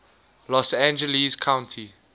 los angeles county